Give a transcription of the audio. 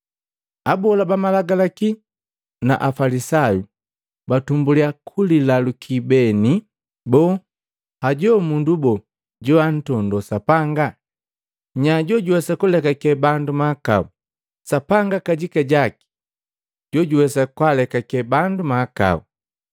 Abola ba malagalaki na Afalisayu batumbulya kulilaluki beni, “Boo, hajo mundu bo joantondo Sapanga? Nya jojuwesa kulekake bandu mahakao? Sapanga kajika jojuwesa kwaalekake bandu mahakau!”